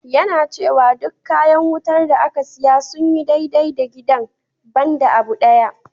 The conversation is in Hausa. Yana cewa duk kayan wutar da aka siya sun yi dai-dai da gidan, ban da abu ɗaya.